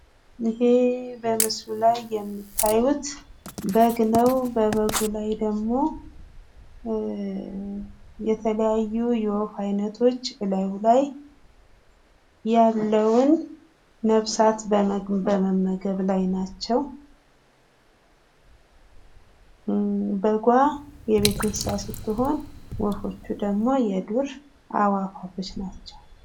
ይህ በምስሉ ላይ የምታዩት በግ ነው። በበጉ ላይ ደግሞ የተለያዩ የወፍ ዓይነቶች እላዩ ላይ ያለውን ነፍሳት በመመገብ ላይ ናቸው። በጉ የቤት እንስሳት ሲሆን ወፎች ደግሞ የዱር እንስሳት ናቸው።